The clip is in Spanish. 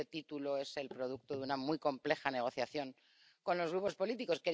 Este título es el producto de una muy compleja negociación con los grupos políticos.